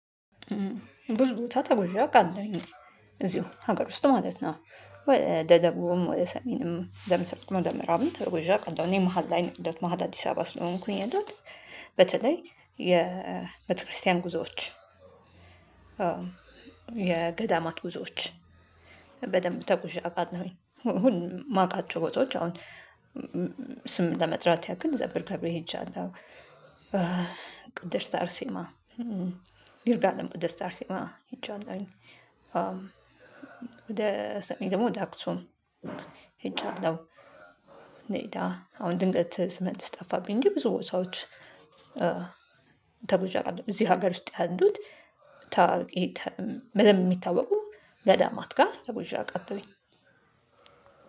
ብዙ ቦታ ተጎዣ አቃለሁኝ እዚሁ ሀገር ውስጥ ማለት ነው። ወደ ደቡብም ወደ ሰሜንም ወደ ምስራቅም ወደ ምዕራብም ተጉዤ አቃለው እኔ መሃል ላይ ያለሁውት መሃል አዲስ አበባ ስለሆንኩኝ ያለሁት። በተለይ የቤተክርስቲያን ጉዞዎች። የገዳማት ጉዞዎች። በደንብ ተጉዤ አቃለሁኝ ሁሉንም የማቃቸው ቦታዎች አሁን ስም ለመጥራት ያክል ዘብር ገብርኤል ሄጄለው። ቅድስት አርሴማ። ይርጋለም ቅድስት አርሴማ ሄጃለሁኝ። ወደ ሰሜን ደግሞ ወደ አክሱም ሄጃለሁ። አሁን ድንገት ስመልስ ጠፋብኝ እንጂ ብዙ ቦታዎች። ተጉዤ አቃለሁ እዚህ ሀገር ውስጥ ያሉት ታዋቂ በደንብ የሚታወቁ ገዳማት ጋር ተጉዤ አቃለውኝ።